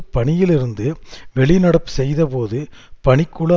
பணியிலிருந்து வெளிநடப்பு செய்தபோது பணிக்குழு